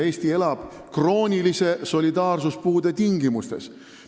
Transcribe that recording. Eesti elab kroonilise solidaarsuspuude tingimustes.